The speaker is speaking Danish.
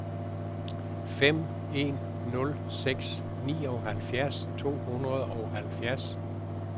fem en nul seks nioghalvfjerds to hundrede og halvfjerds